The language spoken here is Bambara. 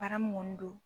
Baara mun ŋɔni don